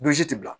tɛ bila